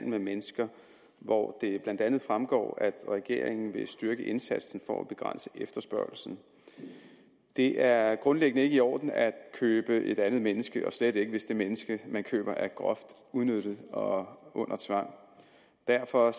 med mennesker hvor det blandt andet fremgår at regeringen vil styrke indsatsen for at begrænse efterspørgslen det er grundlæggende ikke i orden at købe et andet menneske og slet ikke hvis det menneske man køber er groft udnyttet og under tvang derfor